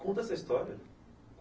Conta essa história.